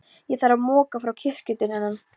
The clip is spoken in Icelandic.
Ég þarf að moka frá kirkjudyrunum.